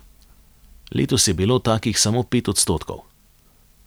Letos je bilo takih samo pet odstotkov.